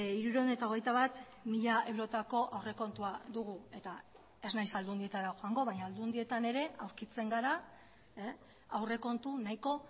hirurehun eta hogeita bat mila eurotako aurrekontua dugu eta ez naiz aldundietara joango baina aldundietan ere aurkitzen gara aurrekontu nahiko